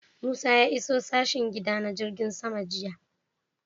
Musa ya iso sashen gida na jirgin sama jiya